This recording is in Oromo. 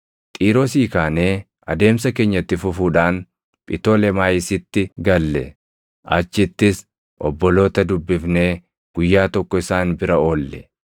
Xiiroosii kaanee adeemsa keenya itti fufuudhaan Phitolemaayisitti galle; achittis obboloota dubbifnee guyyaa tokko isaan bira oolle.